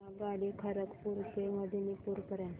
आगगाडी खरगपुर ते मेदिनीपुर पर्यंत